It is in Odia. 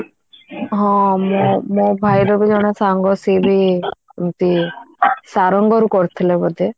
ହଁ ମୁଁ ମୋ ଭାଇର ବି ଜଣେ ସାଙ୍ଗ ସିଏବି ଏମିତି ଶାରଙ୍ଗ ରୁ କରିଥିଲେ ବୋଧେ